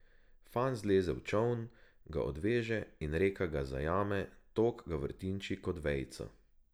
Fant zleze v čoln, ga odveže in reka ga zajame, tok ga vrtinči kot vejico.